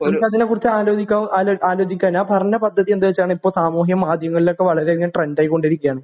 നമുക്ക് അതിനെക്കുറിച്ച് ആലോചിക്കാവു ആലോചിക്കാം ഞാൻ പറഞ്ഞ പദ്ധതി എന്താവെച്ചാൽ ഇപ്പോൾ സാമൂഹ്യ മാധ്യമങ്ങളിലൊ ക്കെ വളരെയധികം ട്രെൻഡ് ആയികൊണ്ടിരിക്കുകയാണ്.